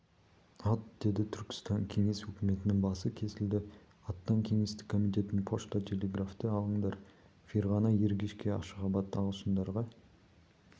ат деді түркістан кеңес өкіметінің басы кесілді аттан кеңестік комитетін пошта-телеграфты алыңдар ферғана ергешке ашғабат ағылшындарға